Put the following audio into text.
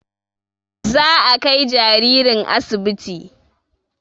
Za a kai jaririn asibiti